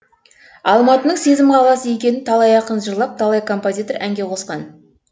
алматының сезім қаласы екенін талай ақын жырлап талай композитор әнге қосқан